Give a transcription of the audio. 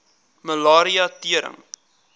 malaria tering